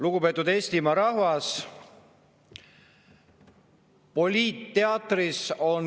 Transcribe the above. Lugupeetud Eestimaa rahvas!